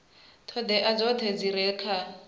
ṱhoḓea dzoṱhe dzi re kha